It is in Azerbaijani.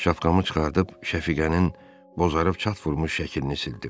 Şapkamı çıxarıb Şəfiqənin bozarıb çat vurmuş şəklini sildim.